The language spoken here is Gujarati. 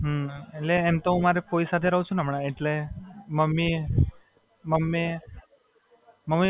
હાં, એટલે એમ તો હું મારા ફોઇ સાથે રહું છું ને હમણાં એટલે મમ્મી,